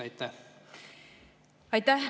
Aitäh!